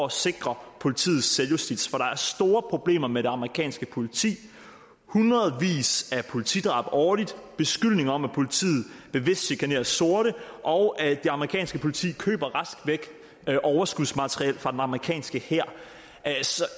at sikre politiets selvjustits for der er store problemer med det amerikanske politi hundredvis af politidrab årligt og beskyldninger om at politiet bevidst chikanerer sorte og det amerikanske politi køber rask væk overskudsmateriel fra den amerikanske hær